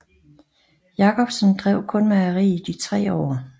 Jacobsen drev kun mejeriet i tre år